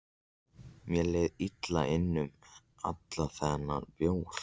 Mér leið illa innan um allan þennan bjór.